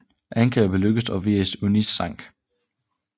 Angrebet lykkedes og Viribus Unitis sank